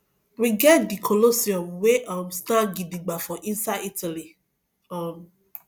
we get di colosseum wey um stand gidigba for inside italy um